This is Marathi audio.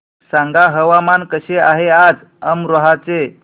सांगा हवामान कसे आहे आज अमरोहा चे